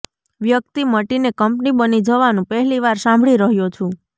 વ્યક્તિ મટીને કંપની બની જવાનું પહેલીવાર સાંભળી રહ્યો છું